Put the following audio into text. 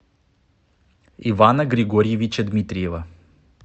ивана григорьевича дмитриева